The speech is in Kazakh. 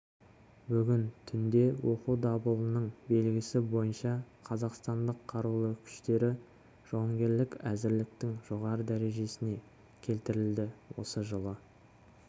бүгін түнде оқу дабылының белгісі бойынша қазақстанның қарулы күштері жауынгерлік әзірліктің жоғары дәрежесіне келтірілді осы жылы